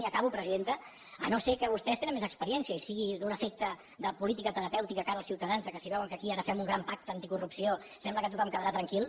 i acabo presidenta si no és que vostès tenen més experiència i sigui un efecte de política terapèutica de cara als ciutadans que si veuen que aquí ara fem un gran pacte anticorrupció sembla que tothom quedarà tranquil